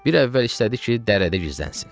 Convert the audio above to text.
Bir əvvəl istədi ki, dərrədə gizlənsin.